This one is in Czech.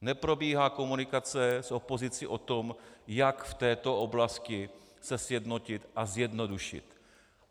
Neprobíhá komunikace s opozicí o tom, jak v této oblasti se sjednotit a zjednodušit.